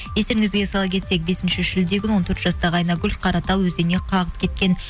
естеріңізге сала кетсек бесінші шілде күні он төрт жастағы айнагүл қаратал өзеніне қалқып кеткен